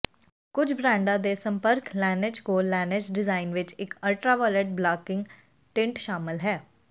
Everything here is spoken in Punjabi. ਕੁੱਝ ਬ੍ਰਾਂਡਾਂ ਦੇ ਸੰਪਰਕ ਲੈਨਜ਼ ਕੋਲ ਲੈਨਜ ਡਿਜ਼ਾਇਨ ਵਿੱਚ ਇੱਕ ਅਲਟਰਾਵਾਇਲੈਟ ਬਲਾਕਿੰਗ ਟਿੰਟ ਸ਼ਾਮਲ ਹੈ